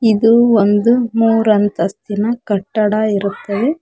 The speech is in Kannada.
ಇದು ಒಂದು ಮುರಂತಿಸ್ಥಿನ ಕಟ್ಟಡ ಇರುತ್ತದೆ.